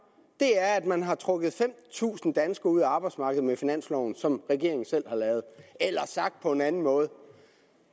er at man har trukket fem tusind danskere ud af arbejdsmarkedet med finansloven som regeringen selv har lavet eller sagt på en anden måde